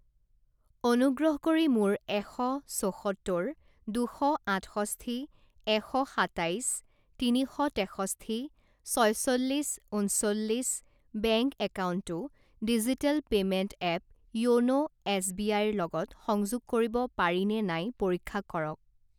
অনুগ্ৰহ কৰি মোৰ এশ ছসত্তৰ দুশ আঠষষ্ঠি এশ সাতাইছ তিনি শ তেষষ্ঠি ছয়চল্লিছ ঊনচল্লিছ বেংক একাউণ্টটো ডিজিটেল পে'মেণ্ট এপ য়োনো এছবিআইৰ লগত সংযোগ কৰিব পাৰিনে নাই পৰীক্ষা কৰক।